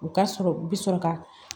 U ka sɔrɔ u bɛ sɔrɔ ka